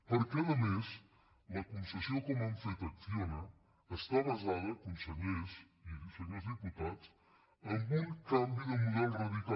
perquè a més la concessió com han fet a acciona esta basada consellers i senyors diputats en un canvi de model radical